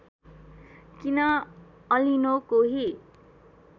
किन अलिनो कोही